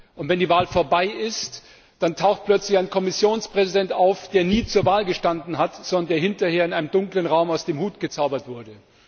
Und wenn die Wahl vorbei ist, dann taucht plötzlich ein Kommissionspräsident auf, der nie zur Wahl gestanden hat, sondern der hinterher in einem dunklen Raum aus dem Hut gezaubert wurde.